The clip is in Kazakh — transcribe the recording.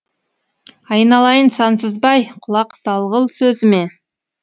айналайын сансызбай құлақ салғыл сөзіме